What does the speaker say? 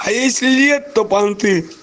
а если нет то понты